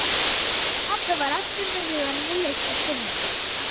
sagði pabbi og var aftur með hugann við listir fimleikakvennanna.